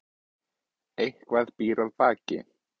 Eitthvað býr að baki